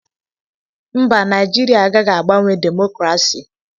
Mba! Naịjirịa agaghị agbanwe demokrasi.